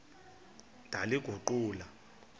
ndaliguqula